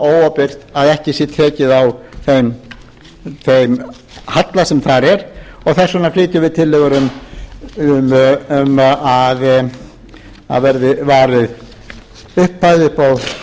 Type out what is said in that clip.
óábyrgt að ekki sé tekið á þeim halla sem þar er og þess vegna flytjum við tillögur um að verði varið upphæð upp á fjögur hundruð milljóna